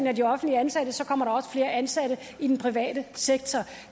af de offentligt ansatte og så kommer der også flere ansatte i den private sektor